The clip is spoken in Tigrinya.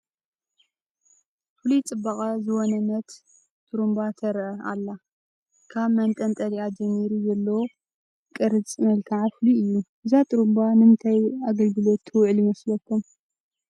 ፍሉይ ፅባቐ ዝወነነት ጥሩምባ ትርአ ኣላ፡፡ ካብ መንጠልጠሊኣ ጀሚሩ ዘሎ ቅርፀ መልክዓ ፍሉይ እዩ፡፡ እዛ ጥሩምባ ንምንታይ ግልጋሎት ትውዕል ይመስለኩም?